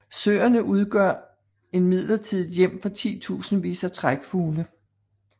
Søerne udgør et midlertidigt hjem for titusindvis af trækfugle